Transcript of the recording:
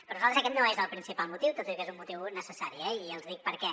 per nosaltres aquest no és el principal motiu tot i que és un motiu necessari i els dic per què